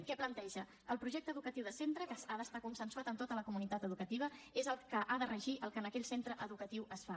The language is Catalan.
què planteja el projecte educatiu de centre que ha d’estar consensuat amb tota la comunitat educativa és el que ha de regir el que en aquell centre educatiu es fa